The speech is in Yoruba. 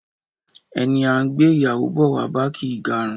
Ẹni a ń gbé ìyàwó bọ̀ wá bá kì í garun